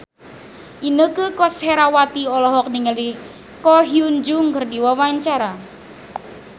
Inneke Koesherawati olohok ningali Ko Hyun Jung keur diwawancara